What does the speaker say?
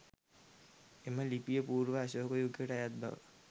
එම ලිපිය පූර්ව අශෝක යුගයට අයත් බව